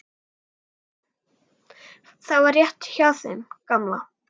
Og það var rétt hjá þeim gamla.